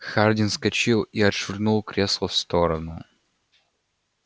хардин вскочил и отшвырнул кресло в сторону